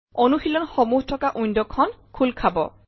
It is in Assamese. অনুশীলন সমূহ থকা ৱিণ্ডৱ খন খোল খাব